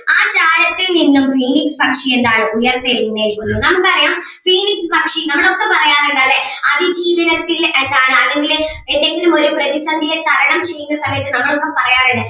ആ ചാരത്തിൽ നിന്നും ഈ പക്ഷി എന്താണ് ഉയർത്തെഴുന്നേൽക്കുന്നു നമുക്ക് അറിയാം phoenix പക്ഷി നമ്മളൊക്കെ പറയാറുണ്ട് അല്ലെ അതിജീവനത്തിൻ്റെ ആയിട്ടാണ് അല്ലെങ്കില് ഏതെങ്കിലും ഒരു പ്രതിസന്ധിയെ തരണം ചെയ്യുന്ന സമയത്ത് നമ്മളൊക്കെ പറയാറുണ്ട്